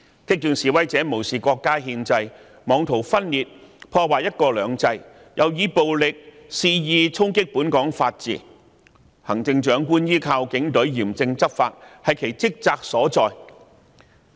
激進示威者無視國家憲制，妄圖分裂、破壞"一國兩制"，又以暴力肆意衝擊本港法治，行政長官依靠警隊嚴正執法，是其職責所在。